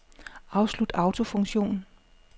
Afslut autofunktion.